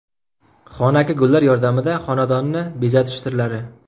Xonaki gullar yordamida xonadonni bezatish sirlari.